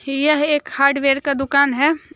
यह एक हार्डवेयर का दुकान है।